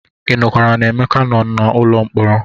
Ị nụkwara na Emeka nọ n'ụlọ mkpọrọ?